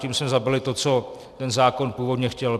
Tím jsme zabili to, co ten zákon původně chtěl.